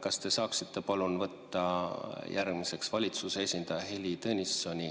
Kas te saaksite palun võtta järgmiseks valitsuse esindaja Heili Tõnissoni,